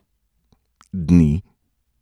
Dni?